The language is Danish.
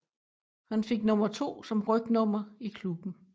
Han fik nummer 2 som rygnummer i klubben